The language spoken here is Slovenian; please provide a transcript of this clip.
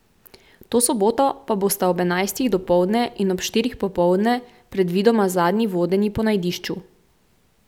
To soboto pa bosta ob enajstih dopoldne in ob štirih popoldne predvidoma zadnji vodenji po najdišču.